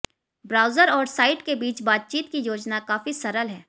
browser और site के बीच बातचीत की योजना काफी सरल है